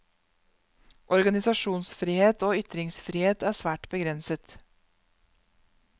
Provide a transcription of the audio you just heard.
Organisasjonsfrihet og ytringsfrihet er svært begrenset.